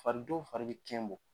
Fari dɔw fari bɛ kɛn bɔ.